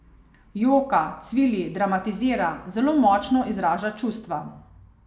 Joka, cvili, dramatizira, zelo močno izraža čustva.